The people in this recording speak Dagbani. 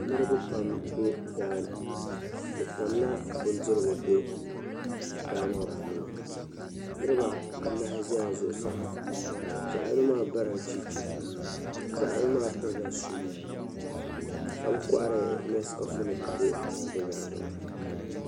Niriba pam be daa ni bɛ tamla bindirigu be daa maa puuni. Niriba anahi zala zuɣusaa zaɣ' yino maa barila cheche zaɣ' yino maa pirila shuu ka kɔhiri ɛɛh nesikɔfinima be bɛ nyaaŋga maa.